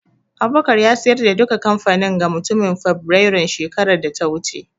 Abubakar ya siyar da duka kamfanin ga mutumin Fibirairun shekarar da ta wuce